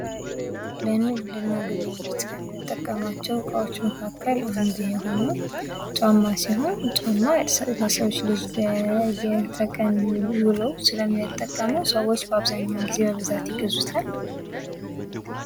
ለንግድ እና ግብይት ከምንጠቀማቸው እቃወች መካከል አንዱ የሆነው ጫማ ሲሆን ጫማ ለሰው ልጅ ለየተቀን ዉሎው ስለሚጠቀመው ሰዎች አብዛኛውን ጊዜ በብዛት ይገዙታል።